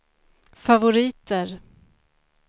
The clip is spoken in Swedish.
favoriter